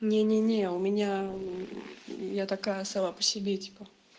не не не у меня я такая сама по себе типа